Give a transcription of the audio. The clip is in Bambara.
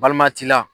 Balima t'i la